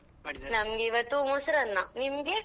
ನಮ್ಗೆ ಇವತ್ತು ಮೊಸರನ್ನ ನಿಮ್ಗೆ?